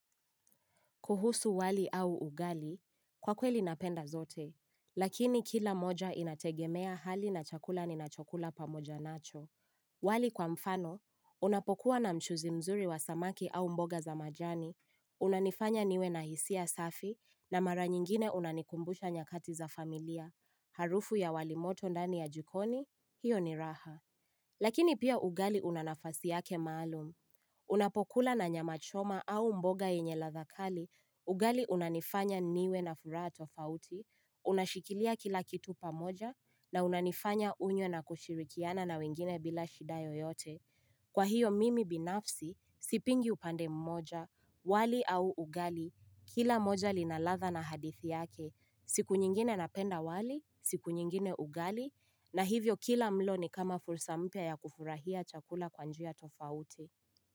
Kuhusu wali au ugali, kwa kweli napenda zote, lakini kila moja inategemea hali na chakula ninachokula pamoja nacho. Wali kwa mfano, unapokuwa na mchuzi mzuri wa samaki au mboga za majani, unanifanya niwe na hisia safi, na mara nyingine unanikumbusha nyakati za familia, harufu ya walimoto ndani ya jikoni, hiyo ni raha. Lakini pia ugali una nafasi yake maalum. Unapokula na nyama choma au mbogaenye ladha kali, ugali unanifanya niwe na furaha tofauti, unashikilia kila kitu pamoja na unanifanya unye na kushirikiana na wengine bila shida yoyote. Kwa hiyo mimi binafsi, sipingi upande mmoja, wali au ugali, kila moja lina ladha na hadithi yake, siku nyingine napenda wali, siku nyingine ugali, na hivyo kila mlo ni kama fursa mpya ya kufurahia chakula kwa njia tofauti.